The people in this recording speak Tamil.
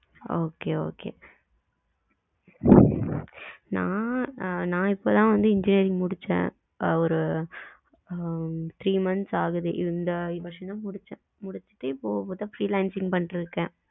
okay, okay நா நா இப்ப தான் வந்து engineering முடுச்சேன். ஒரு அஹ் three months இந்த வருஷம் தான் முடுச்சேன் முடுச்சுட்டு இப்ப பாத்தா freelancing பண்ணிட்டு இருக்கேன்.